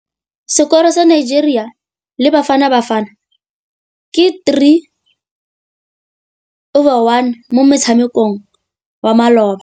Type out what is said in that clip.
Sekôrô sa Nigeria le Bafanabafana ke 3-1 mo motshamekong wa malôba.